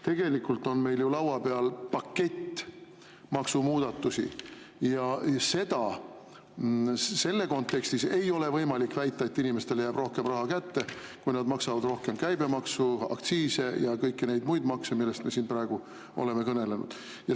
Tegelikult on meil ju laua peal pakett maksumuudatusi ja selle kontekstis ei ole võimalik väita, et inimestele jääb rohkem raha kätte, kui nad maksavad rohkem käibemaksu, aktsiise ja kõiki neid muid makse, millest me siin praegu oleme kõnelenud.